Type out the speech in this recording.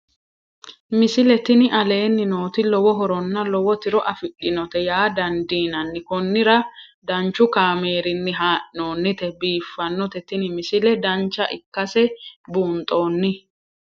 misile tini aleenni nooti lowo horonna lowo tiro afidhinote yaa dandiinanni konnira danchu kaameerinni haa'noonnite biiffannote tini misile dancha ikkase buunxanni